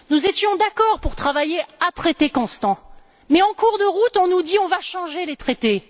Nous étions d'accord pour travailler à traités constants, mais en cours de route on nous dit On va changer les traités.